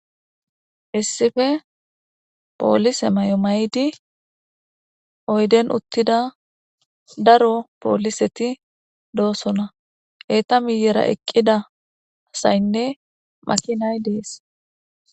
issife poolise mao maydi oyden uttida daro pooliseti doosona eeta miyera eqqida asaynne makinay dees